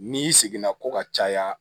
N'i y'i seginna ko ka caya